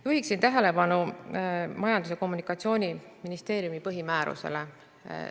Juhiksin tähelepanu Majandus- ja Kommunikatsiooniministeeriumi põhimäärusele.